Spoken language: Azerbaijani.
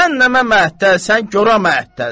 Cəhənnəmə mətəlsən, gorə mətəlsən.